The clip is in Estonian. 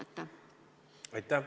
Aitäh!